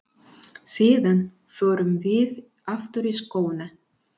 Síðan förum við aftur í skóna.